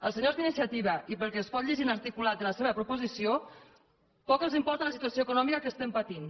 als senyors d’iniciativa i pel que es pot llegir en l’articulat de la seva proposició poc els importa la situació econòmica que estem patint